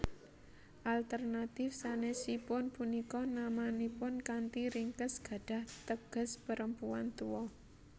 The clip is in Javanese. Alternatif sanèsipun punika namanipun kanthi ringkes gadhah teges perempuan tua